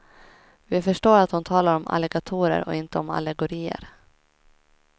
Vi förstår att hon talar om alligatorer och inte om allegorier.